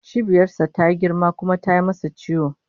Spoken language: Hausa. Cibiyar sa tayi girma kuma tayi masa ciwo